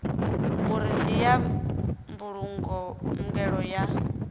uri ndi ya mbulungelo ya